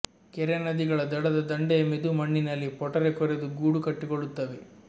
ಕೆರೆ ನದಿಗಳ ದಡದ ದಂಡೆಯ ಮೆದು ಮಣ್ಣಿನಲ್ಲಿ ಪೊಟರೆ ಕೊರೆದು ಗೂಡು ಕಟ್ಟಿಕೊಳ್ಳುತ್ತವೆ